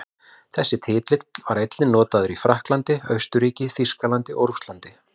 Þessi titill var einnig notaður í Frakklandi, Austurríki, Þýskalandi og Rússlandi.